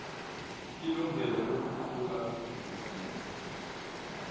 ilungelo lokuqhuba ibhizinisi